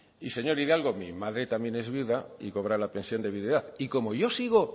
y señor hidalgo mi madre también es viuda y cobra la pensión de viudedad y como yo sigo